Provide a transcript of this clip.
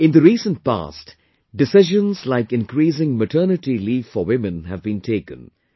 In the recent past, decisions like increasing maternity leave for women have been taken